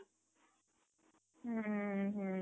ହୁଁ ହୁଁ